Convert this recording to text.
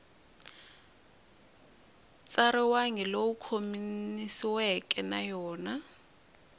tsariwangi lowu khomanisiweke na yona